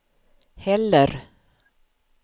heller